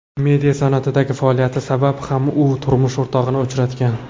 Media sanoatidagi faoliyati sabab ham u turmush o‘rtog‘ini uchratgan.